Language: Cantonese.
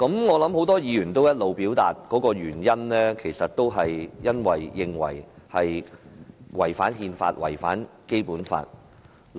我相信很多議員表示反對的原因，是認為這項《條例草案》違反憲法和《基本法》。